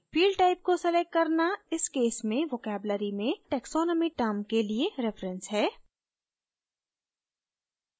field type को selecting करना इस case में vocabulary में taxonomy term के लिए reference है